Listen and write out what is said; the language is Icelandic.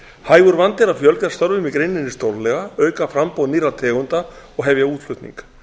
hægur vandi er að fjölga störfum í greininni stórlega auka framboð nýrra tegunda og hefja útflutning